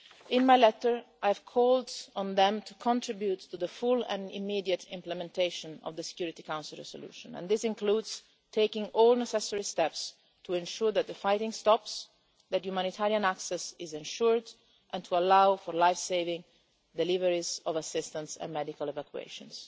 In my letter I called on them to contribute to the full and immediate implementation of the Security Council Resolution, and this includes taking all necessary steps to ensure that the fighting stops, that humanitarian access is ensured, and to allow for life-saving deliveries of assistance and medical evacuations.